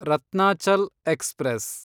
Ratnachal express